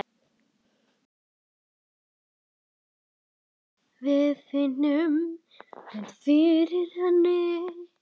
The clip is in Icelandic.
Við finnum vel fyrir henni.